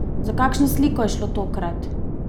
Za kakšno sliko je šlo tokrat?